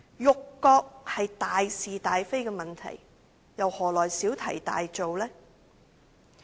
辱國是大事大非的問題，又何來小題大做呢？